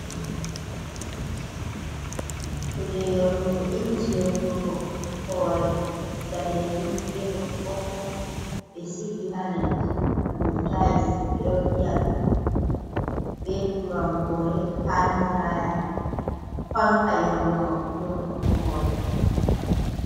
Kuje yornugo inji yornugo hore danejum be ɓokko ɓokko ɓe sigi ha leddi ha dow tais ɓeɗo do vi’a ɗum be turankore handiraya fanka yorno yornugo hore.